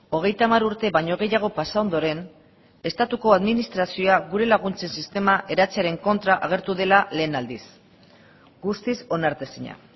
hogeita hamar urte baino gehiago pasa ondoren estatuko administrazioa gure laguntze sistema eratzearen kontra agertu dela lehen aldiz guztiz onartezina